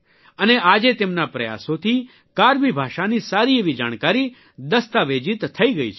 અને આજે તેમના પ્રયાસોથી કાર્બિ ભાષાની સારી એવી જાણકારી દસ્તાવેજીત થઇ ગઇ છે